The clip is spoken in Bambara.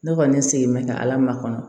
Ne kɔni sigi bɛ ka ala makɔnɔ